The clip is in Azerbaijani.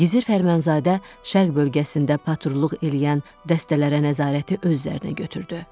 Gizir Fərmanzadə şərq bölgəsində patrulluq eləyən dəstələrə nəzarəti öz üzərinə götürdü.